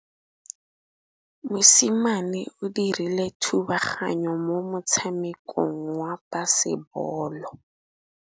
Mosimane o dirile thubaganyô mo motshamekong wa basebôlô.